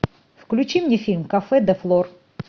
включи мне фильм кафе де флор